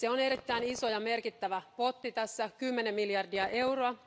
Se on erittäin iso ja merkittävä potti, 10 miljardia euroa.